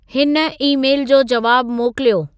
हिन ई-मेल जो जवाबु मोकिलियो